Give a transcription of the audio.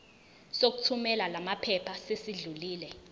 sokuthumela lamaphepha sesidlulile